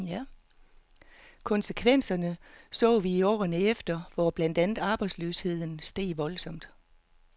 Konsekvenserne så vi i årene efter, hvor blandt andet arbejdsløsheden steg voldsomt.